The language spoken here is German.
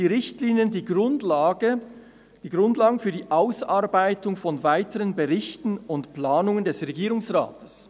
Die Richtlinien] bilden die Grundlagen für die Ausarbeitung weiterer Berichte und Planungen des Regierungsrates.